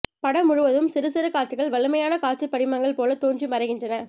படம் முழுவதும் சிறுசிறு காட்சிகள் வலிமையான காட்சிபடிமங்கள் போல தோன்றி மறைகின்றன